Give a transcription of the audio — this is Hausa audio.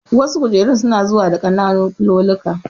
Wasu kujerun su na zuwa da ƙananun filulluka